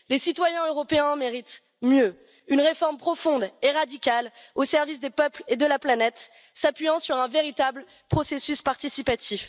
Les citoyens européens méritent mieux une réforme profonde et radicale au service des peuples et de la planète, s'appuyant sur un véritable processus participatif.